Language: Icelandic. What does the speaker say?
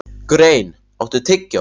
Grein, áttu tyggjó?